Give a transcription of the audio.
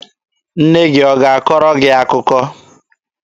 Nne gị ọ ga-akọrọ gị akụkọ?